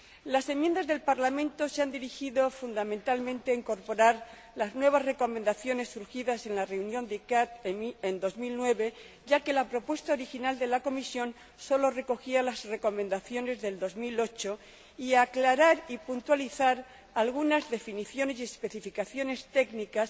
Las enmiendas del Parlamento se han dirigido fundamentalmente a incorporar las nuevas recomendaciones surgidas en la reunión de la CICAA en 2009, ya que la propuesta original de la Comisión sólo recogía las recomendaciones de 2008, y aclarar y puntualizar algunas definiciones y especificaciones técnicas